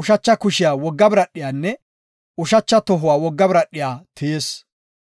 ushacha kushiya wogga biradhiyanne, ushacha tohuwa wogga biradhiya tiyis.